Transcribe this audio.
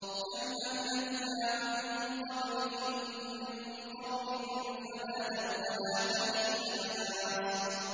كَمْ أَهْلَكْنَا مِن قَبْلِهِم مِّن قَرْنٍ فَنَادَوا وَّلَاتَ حِينَ مَنَاصٍ